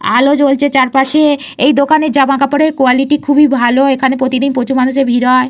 আলো জ্বলছে চারপাশে। এই দোকানের জামাকাপড়ের কোয়ালিটি খুবই ভালো। এইখানে প্রতিদিন প্রচুর মানুষের ভিড় হয়।